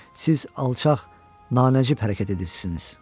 Siz alçaq, nanəcib hərəkət edirsiniz.